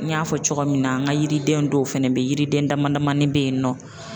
N y'a fɔ cogoya min na, n ka yiriden dɔw fɛnɛ bɛ ye, yiriden dama damanin bɛ yen nɔ.